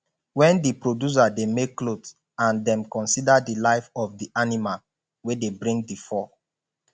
when di producer dey make cloth and dem consider di life of di animal wey dey bring di fur